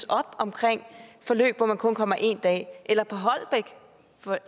op omkring forløb hvor man kun kommer en dag eller